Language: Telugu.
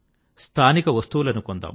స్థానిక వస్తువులను కొందాం